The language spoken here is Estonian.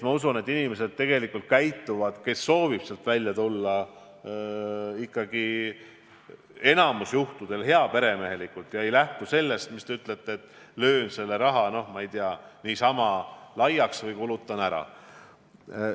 Ma usun, et sambast lahkuvad inimesed tegelikult käituvad enamikul juhtudel heaperemehelikult ega ei lähtu eesmärgist see raha, nagu te ütlete, niisama laiaks lüüa või ära kulutada.